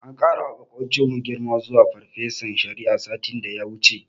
An ƙarawa maƙocinmu girma zuwa farfesan shari'a, satin da ya wuce.